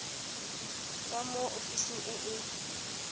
tswa mo ofising e e